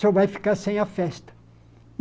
O senhor vai ficar sem a festa.